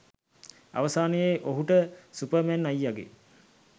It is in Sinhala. අවසානයේ ඔහුට සුපර්මැන් අයියගේ